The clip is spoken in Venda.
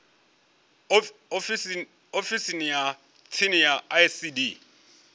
ofisini ya tsini ya icd